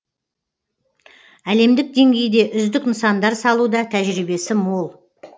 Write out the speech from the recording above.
әлемдік деңгейде үздік нысандар салуда тәжірибесі мол